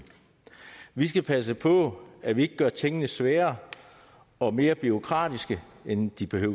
vi skal passe på at vi ikke gør tingene sværere og mere bureaukratiske end de behøver